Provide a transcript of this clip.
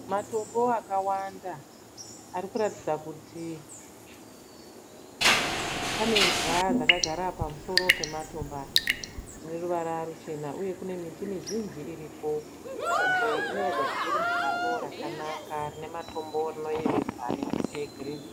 Matombo akawanda arikuratidza kuti pane imbwa dzakagara pamusoro pematombo aya dzine ruvara ruchena uye kune miti mizhinji iriko , nzvimbo iyi inoratidza kuti iri musango rakanaka rine rinoyevedza rine miti yegirini.